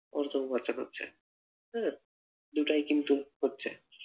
অর্থ ও খরচা করছে উহ দুটাই কিন্তু করছে,